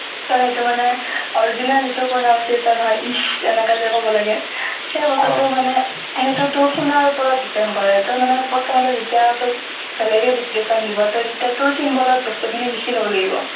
so সেইটো মানে original যিটো pronunciation হয়, if এনেকেযে কব লাগে, সেই বস্তুটো মানে , সেইটো তু শুনাৰ ওপৰত depend কৰে। ত মানে প্ৰথমতে যেতিয়া তোক বেলেগে dictation দিব, ত তেতিয়া তোৰ symbol বস্তুখিনি লিখি লব লাগিব।